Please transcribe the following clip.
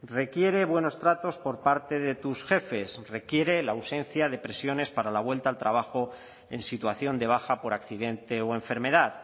requiere buenos tratos por parte de tus jefes requiere la ausencia de presiones para la vuelta al trabajo en situación de baja por accidente o enfermedad